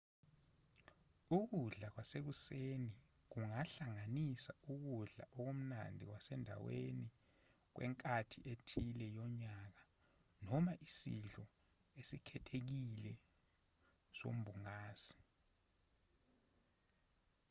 ukudla kwasekuseni kungahlanganisa ukudla okumnandi kwasendaweni kwenkathi ethile yonyaka noma isidlo esikhethekile sombungazi